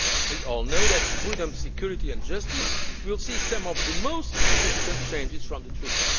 ahead. We all know that freedom, security and justice will see some of the most significant changes from the